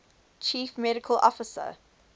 chief medical officer